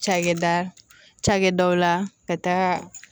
Cakɛda cakɛdaw la ka taa